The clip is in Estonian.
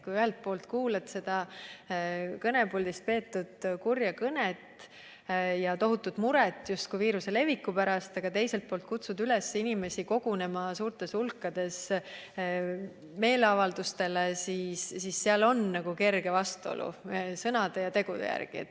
Kui ühelt poolt kuuled kõnepuldist peetud kurja kõnet ja justkui tohutut muret viiruse leviku pärast, aga teiselt poolt kutsutakse üles inimesi kogunema suurtes hulkades meeleavaldustele, siis seal on kerge vastuolu sõnade ja tegude vahel.